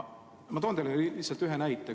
Ma toon teile ühe näite.